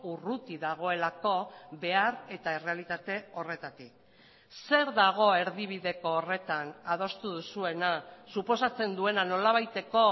urruti dagoelako behar eta errealitate horretatik zer dago erdibideko horretan adostu duzuena suposatzen duena nolabaiteko